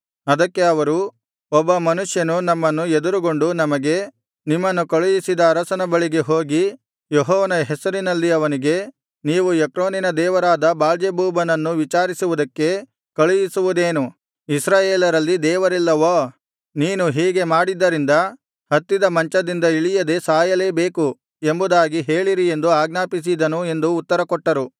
ಅದಕ್ಕೆ ಅವರು ಒಬ್ಬ ಮನುಷ್ಯನು ನಮ್ಮನ್ನು ಎದುರುಗೊಂಡು ನಮಗೆ ನಿಮ್ಮನ್ನು ಕಳುಹಿಸಿದ ಅರಸನ ಬಳಿಗೆ ಹೋಗಿ ಯೆಹೋವನ ಹೆಸರಿನಲ್ಲಿ ಅವನಿಗೆ ನೀನು ಎಕ್ರೋನಿನ ದೇವರಾದ ಬಾಳ್ಜೆಬೂಬನನ್ನು ವಿಚಾರಿಸುವುದಕ್ಕೆ ಕಳುಹಿಸುವುದೇನು ಇಸ್ರಾಯೇಲರಲ್ಲಿ ದೇವರಿಲ್ಲವೋ ನೀನು ಹೀಗೆ ಮಾಡಿದ್ದರಿಂದ ಹತ್ತಿದ ಮಂಚದಿಂದ ಇಳಿಯದೆ ಸಾಯಲೇ ಬೇಕು ಎಂಬುದಾಗಿ ಹೇಳಿರಿ ಎಂದು ಆಜ್ಞಾಪಿಸಿದನು ಎಂದು ಉತ್ತರ ಕೊಟ್ಟರು